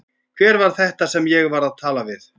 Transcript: Hver var þetta sem ég var að tala við?